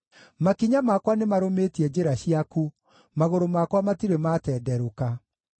Makinya makwa nĩmarũmĩtie njĩra ciaku; magũrũ makwa matirĩ matenderũka.